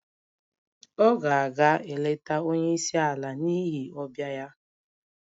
Ọ ga-aga eleta onye isi ala n'ihi ọbịa ya